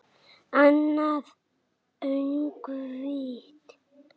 Annað öngvit